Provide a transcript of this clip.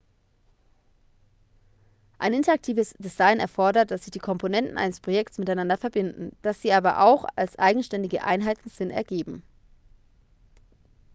ein interaktives design erfordert dass sich die komponenten eines projektes miteinander verbinden dass sie aber auch als eigenständige einheiten sinn ergeben